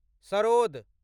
sarod